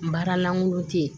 N baara langolo te ye